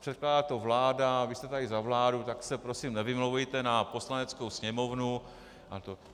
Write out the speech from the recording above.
Předkládá to vláda, vy jste tady za vládu, tak se prosím nevymlouvejte na Poslaneckou sněmovnu.